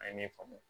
A ye min faamu